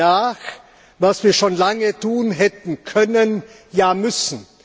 Wir holen nach, was wir schon lange hätten tun können, ja müssen.